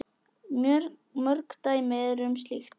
Mörg dæmi eru um slíkt.